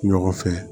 Ɲɔgɔn fɛ